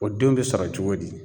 O denw be sɔrɔ cogo di?